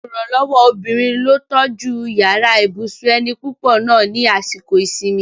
Olùrànlọ́wọ́ obìnrin ló tọ́jú yàrá ibùsùn ẹni púpọ̀ náà ni àsìkò ìsinmi